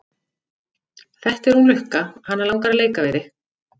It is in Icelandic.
Þetta er hún Lukka, hana langar að leika við þig.